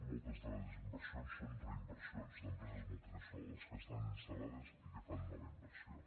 moltes de les inversions són reinversions d’empreses multinacionals que estan instal·lades i que fan nova inversió